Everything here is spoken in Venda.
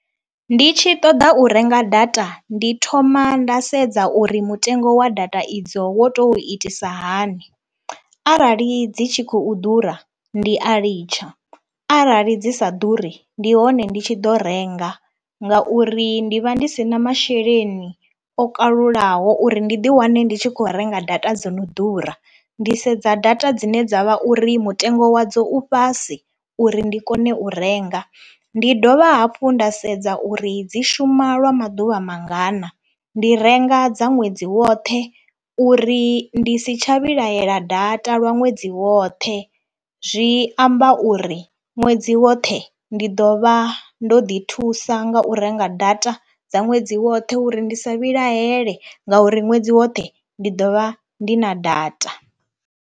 Ndi tshi ṱoḓa u renga data ndi thoma nda sedza uri mutengo wa data idzo wo to itisa hani, arali dzi tshi khou ḓura ndi a litsha, arali dzi sa ḓuri ndi hone ndi tshi ḓo renga ngauri ndi vha ndi si na masheleni o kalulaho uri ndi ḓiwane ndi tshi khou renga data dzo no ḓura. Ndi sedza data dzine dza vha uri mutengo wadzo u fhasi uri ndi kone u renga, ndi dovha hafhu nda sedza uri dzi shuma lwa maḓuvha mangana, ndi renga dza ṅwedzi woṱhe uri ndi si tsha vhilahela data lwa ṅwedzi woṱhe. Zwi amba uri ṅwedzi woṱhe ndi ḓo vha ndo ḓi thusa nga u renga data dza ṅwedzi woṱhe uri ndi sa vhilahele ngauri ṅwedzi woṱhe ndi ḓo vha ndi na data.